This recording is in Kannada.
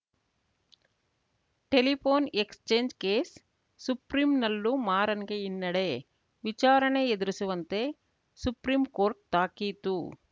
ಟೆಲಿಫೋನ್‌ ಎಕ್ಸ್‌ಚೇಂಜ್‌ ಕೇಸ್‌ ಸುಪ್ರೀಂನಲ್ಲೂ ಮಾರನ್‌ಗೆ ಹಿನ್ನಡೆ ವಿಚಾರಣೆ ಎದುರಿಸುವಂತೆ ಸುಪ್ರೀಂ ಕೋರ್ಟ್‌ ತಾಕೀತು